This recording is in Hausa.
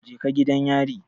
Je ka gidan yari